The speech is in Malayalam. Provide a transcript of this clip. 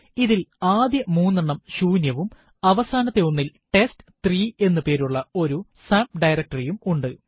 ഇതിൽ ആദ്യ മൂന്നെണ്ണം ശൂന്യവും അവസാനത്തെ ഒന്നിൽ ടെസ്റ്റ്3 എന്ന് പേരുള്ള ഒരു സബ്ഡയറക്ടറി യും ഉണ്ട്